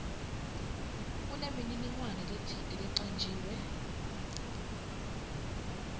kunemininingwane letsite lecanjiwe